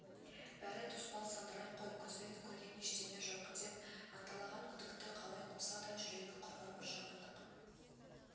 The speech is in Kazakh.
бәрі тұспал сандырақ қой көзбен көрген ештеңе жоқ деп анталаған күдікті қалай қуса да жүрегі құрғыр бір жамандық